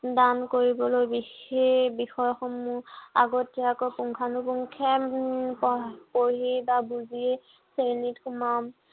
দান কৰিবলৈ সেই বিষয়সমূহ আগতীয়াকৈ পুংখানুপুংখে উম পঢ়ি পঢ়ি বা বুজি শ্ৰেণীত সোমাম।